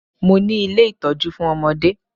Mo ni ilé ìtọ́jú fún ọmọdé